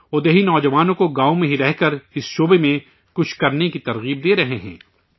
وہ، دیہی نوجوانوں کی گاؤں میں ہی رہ کر اس شعبے میں کچھ کرنے کے لئے حوصلہ افزائی کررہے ہیں